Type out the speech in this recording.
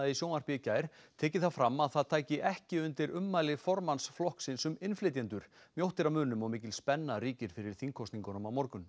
í sjónvarpi í gær tekið fram að það tæki ekki undir ummæli formanns flokksins um innflytjendur mjótt er á munum og mikil spenna ríkir fyrir þingkosningunum á morgun